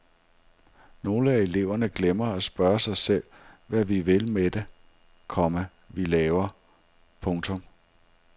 Nogle af eleverne glemmer at spørge sig selv hvad vi vil med det, komma vi laver. punktum